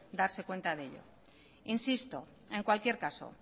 darse cuenta de ello insisto en cualquier caso